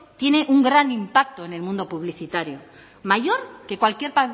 tiene un gran impacto en el mundo publicitario mayor que cualquier